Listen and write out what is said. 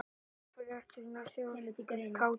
Af hverju ertu svona þrjóskur, Kató?